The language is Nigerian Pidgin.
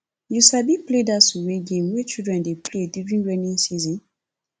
you sabi play dat suwe game wey children dey play during rainy season